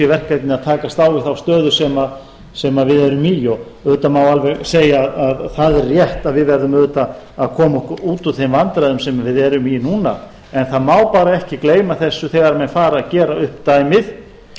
verkefnið að takast á við þá stöðu sem við erum í og auðvitað má alveg segja að það er rétt að við verðum auðvitað að koma okkur út úr þeim vandræðum sem við erum í núna en það má bara ekki gleyma þessu þegar menn fara að gera upp dæmið